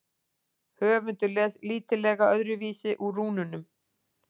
Höfundur les lítillega öðruvísi úr rúnunum.